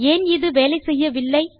ஏன் இது வேலை செய்யவில்லை